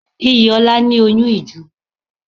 Iyìola ní oyun ìju